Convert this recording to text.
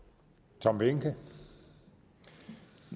det